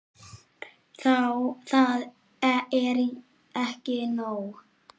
Það er ekki nóg.